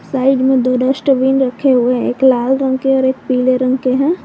Side में दो dustbin रखे हुए है एक लाल रंग के और एक पीले रंग के हैं।